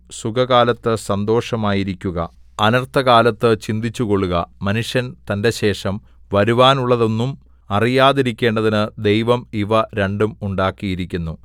സുഖകാലത്ത് സന്തോഷമായിരിയ്ക്കുക അനർത്ഥകാലത്ത് ചിന്തിച്ചുകൊള്ളുക മനുഷ്യൻ തന്റെശേഷം വരുവാനുള്ളതൊന്നും അറിയാതിരിക്കേണ്ടതിന് ദൈവം ഇവ രണ്ടും ഉണ്ടാക്കിയിരിക്കുന്നു